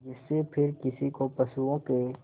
जिससे फिर किसी को पशुओं के